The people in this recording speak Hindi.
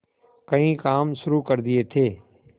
कई काम शुरू कर दिए थे